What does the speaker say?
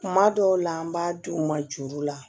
Kuma dɔw la an b'a di u ma juru la